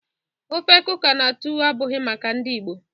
ofe kuka na tuwo ebughi maka ndi Igbo